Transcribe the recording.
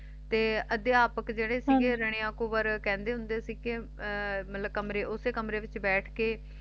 ਤੇ ਅਧਿਆਪਕ ਜਿਹੜੇ ਸੀਗੇ ਜਾਣੀ ਓਕੁਵਰ ਕਹਿੰਦੇ ਹੁੰਦੇ ਸੀ ਮਤਲਬ ਕਮਰੇ ਉਸੇ ਕਮਰੇ ਵਿਚ ਬੈਠ ਕੇ